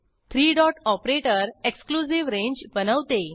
three dot operator exclusive range बनवते